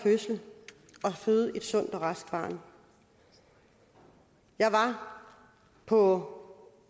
fødsel og føde et sundt og raskt barn jeg var på